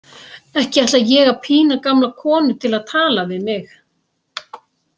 Ekki ætla ég að pína gamla konu til að tala við mig.